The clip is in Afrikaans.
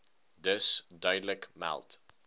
dus duidelik meld